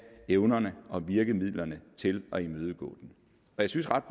evnerne og virkemidlerne til at imødegå den jeg synes ret